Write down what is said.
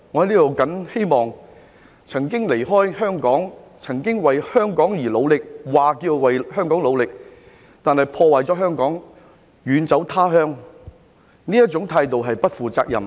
那些曾經離開香港、曾經為香港而努力——是聲稱為香港努力，但卻破壞了香港，然後遠走他鄉的人，這種態度是不負責任。